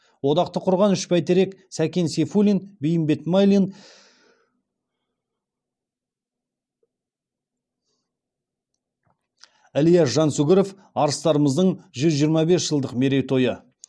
одақты құрған үш бәйтерек сәкен сейфуллин бейімбет майлин ілияс жансүгіров арыстарымыздың жүз жиырма бес жылдық мерейтойы